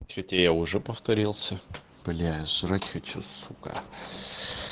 хотя я уже повторился бля я жрать хочу сука